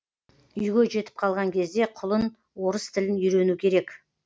үйге жетіп қалған кезде құлын орыс тілін үйрену керек